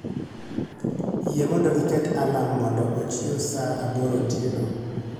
yie mondo iket alarm mondo ochiew saa aboro otieno